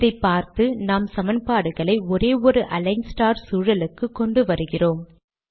இதை பார்த்து நாம் சமன்பாடுகளை ஒரே ஒரு அலிக்ன் ஸ்டார் சூழலுக்கு கொண்டு வருகிறோம்